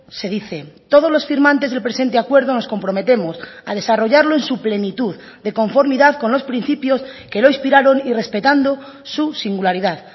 se dice todos los firmantes del presente acuerdo nos comprometemos a desarrollarlo en su plenitud de conformidad con los principios que lo inspiraron y respetando su singularidad